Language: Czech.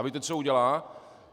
A víte, co udělá?